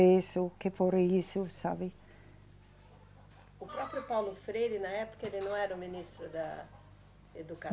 que foram isso, sabe? O próprio Paulo Freire, na época, ele não era o ministro da